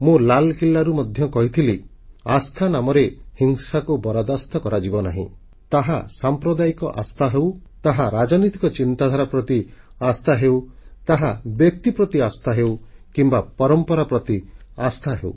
ମୁଁ ଲାଲକିଲ୍ଲାରୁ ମଧ୍ୟ କହିଥିଲି ଆସ୍ଥା ନାମରେ ହିଂସାକୁ ବରଦାସ୍ତ କରାଯିବ ନାହିଁ ତାହା ସାମ୍ପ୍ରଦାୟିକ ଆସ୍ଥା ହେଉ ତାହା ରାଜନୈତିକ ଚିନ୍ତାଧାରା ପ୍ରତି ଆସ୍ଥା ହେଉ ତାହା ବ୍ୟକ୍ତି ପ୍ରତି ଆସ୍ଥା ହେଉ କିମ୍ବା ପରମ୍ପରା ପ୍ରତି ଆସ୍ଥା ହେଉ